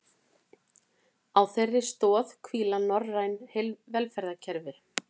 Á þeirri stoð hvíla norræn velferðarkerfi